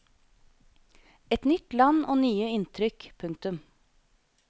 Et nytt land og nye inntrykk. punktum